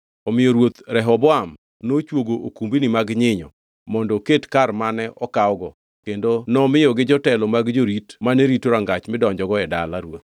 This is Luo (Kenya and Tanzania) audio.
Omiyo ruoth Rehoboam nochwogo okumbni mag nyinyo mondo oket kar mane okawgo kendo nomiyo jotelo mag jorit mane rito rangach midonjogo e dala ruoth.